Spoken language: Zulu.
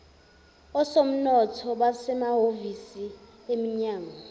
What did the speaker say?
osomnotho basemahhovisi eminyango